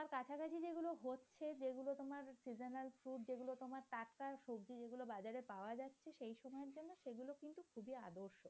টাটকা সবজি যেগুলো বাজারে পাওয়া যাচ্ছে সেই সময়ের জন্য সেগুলো কিন্তু খুবই আদর্শ।